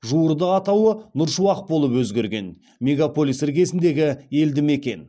жуырда атауы нұр шуақ болып өзгерген мегаполис іргесіндегі елді мекен